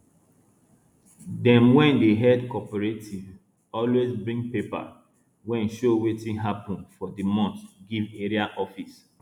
dem wey dey head cooperative always bring paper wey show wetin happun for di month give area office